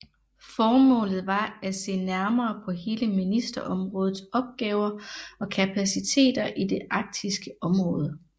Formålet var at se nærmere på hele ministerområdets opgaver og kapaciteter i det arktiske område